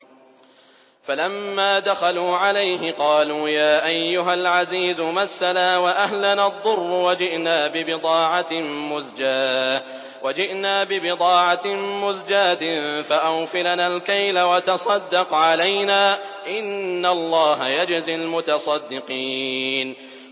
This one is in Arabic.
فَلَمَّا دَخَلُوا عَلَيْهِ قَالُوا يَا أَيُّهَا الْعَزِيزُ مَسَّنَا وَأَهْلَنَا الضُّرُّ وَجِئْنَا بِبِضَاعَةٍ مُّزْجَاةٍ فَأَوْفِ لَنَا الْكَيْلَ وَتَصَدَّقْ عَلَيْنَا ۖ إِنَّ اللَّهَ يَجْزِي الْمُتَصَدِّقِينَ